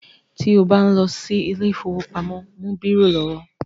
Ti o bá ń lọ sí ilé ìfọwọ́pamo, mú bírò lọ́wọ́.